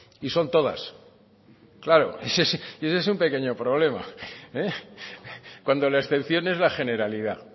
y son todas claro ese es un pequeño problema cuando la excepción es la generalidad